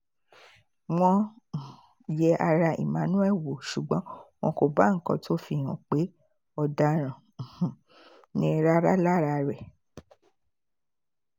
wọ́n um yẹ ara emmanuel wò ṣùgbọ́n wọn kò bá nǹkan tó fi hàn pé ọ̀daràn um ni rárá lára rẹ̀